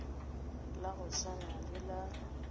la go swana le la